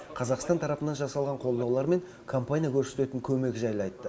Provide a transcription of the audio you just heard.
қазақстан тарапынан жасалған қолдаулар мен компания көрсететін көмек жайлы айтты